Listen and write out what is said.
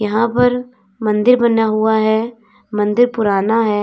यहां पर मंदिर बना हुआ है मंदिर पुराना है।